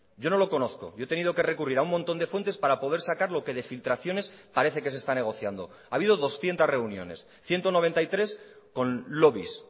yo no lo conozco yo he tenido que recurrir a un montón de fuentes para poder sacar lo que de filtraciones parece que se está negociando ha habido doscientos reuniones ciento noventa y tres con lobbies